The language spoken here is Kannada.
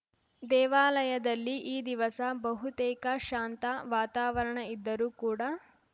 ದೇವಾಲಯದಲ್ಲಿ ಈ ದಿವಸ ಬಹುತೇಕ ಶಾಂತ ವಾತಾವರಣ ಇದ್ದರೂ ಕೂಡ